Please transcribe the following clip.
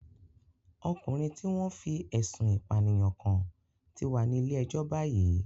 Ọkùnrin tí wọ́n fí ẹ̀sun ìpànìyàn kán ti wà nílé ẹjọ́ báyìí